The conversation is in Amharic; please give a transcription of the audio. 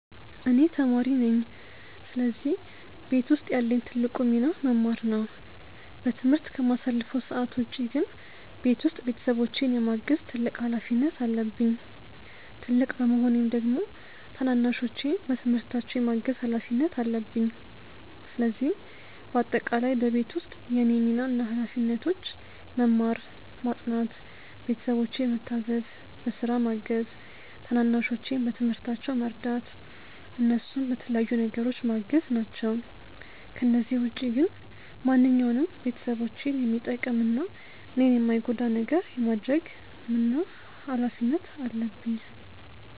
እኔ ተማሪ ነኝ ስለዚህ ቤት ውስጥ ያለኝ ትልቁ ሚና መማር ነው። በትምህርት ከማሳልፈው ሰዓት ውጪ ግን ቤት ውስጥ ቤተሰቦቼን የማገዝ ትልቅ ሀላፊነት አለብኝ። ትልቅ በመሆኔም ደግሞ ታናናሾቼን በትምህርታቸው የማገዝ ሀላፊነት አለብኝ። ስለዚህ በአጠቃላይ በቤት ውስጥ የእኔ ሚና እና ሀላፊነቶች መማር፣ ማጥናት፣ ቤተሰቦቼን ምታዘዝ፣ በስራ ማገዝ፣ ታናናሾቼን በትምህርታቸው መርዳት፣ እነሱን በተለያዩ ነገሮች ማገዝ ናቸው። ከነዚህ ውጪ ግን ማንኛውንም ቤተሰቦቼን የሚጠቅም እና እኔን የማይጎዳ ነገር የማድረግ ምን እና ሀላፊነት አለብኝ።